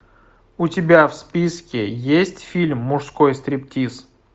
у тебя в списке есть фильм мужской стриптиз